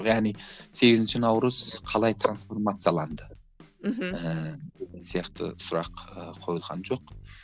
яғни сегізінші наурыз қалай трансформацияланды мхм ііі сияқты сұрақ ыыы қойылған жоқ